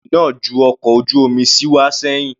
Ìjì náà ju ọkọ̀ ojú omi sí wá sẹ́hìn.